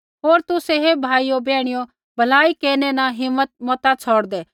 होर तुसै हे भाइयो बैहणियो भलाई केरनै न हिम्मत मता छ़ौड़दै